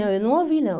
Não, eu não ouvi, não.